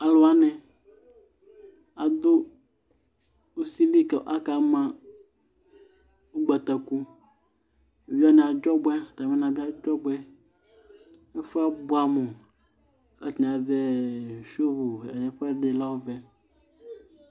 Alʋ wanɩ adʋ usi li kʋ aka ma ʋgbatakuEvidze wanɩ adzɔ ɔbʋɛ atamɩ na bɩ adzɔbʋɛ ; ɛfʋɛ abʋamʋK 'atanɩ azɛ juu ɛkʋɛ lɛ ɔvɛ